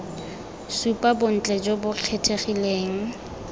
supa bontle jo bo kgethegileng